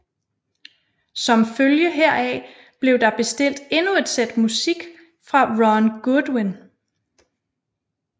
Som følge heraf blev der bestilt endnu et sæt musik fra Ron Goodwin